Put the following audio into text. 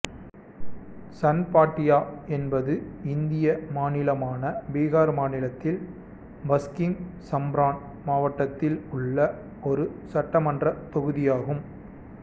சன்பாட்டியா என்பது இந்தியா மாநிலமான பீகார் மாநிலத்தில் பஸ்கிம் சம்பரன் மாவட்டத்தில் உள்ள ஒரு சட்டமன்ற தொகுதியாகும்